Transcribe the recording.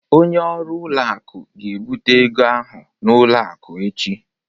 Onye ọrụ ụlọ akụ ga-ebute ego ahụ n'ụlọ akụ echi